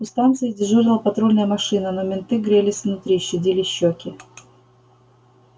у станции дежурила патрульная машина но менты грелись внутри щадили щёки